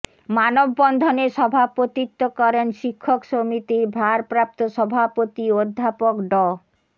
মানববন্ধনে সভাপতিত্ব করেন শিক্ষক সমিতির ভারপ্রাপ্ত সভাপতি অধ্যাপক ড